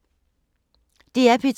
DR P2